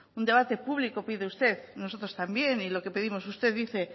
un debate público pide usted y nosotros también y lo que pedimos usted dice